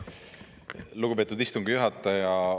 Lugupeetud istungi juhataja!